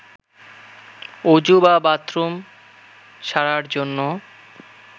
অজু বা বাথরুম সারার জন্য